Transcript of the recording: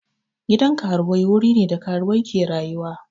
Gidan karuwai wuri ne da karuwai ke rayuwa.